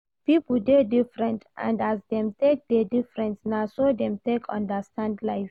Pipo dey different and as dem take dey different na so dem take understand life